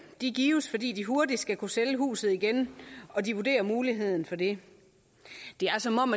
gives fordi de hurtigt skal kunne sælge huset igen og de vurderer muligheden for det det er som om